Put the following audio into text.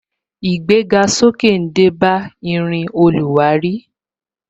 Irin oluwari yóò ní idagbasoke.